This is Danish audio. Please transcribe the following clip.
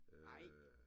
Nej!